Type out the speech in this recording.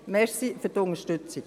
Ich danke für die Unterstützung.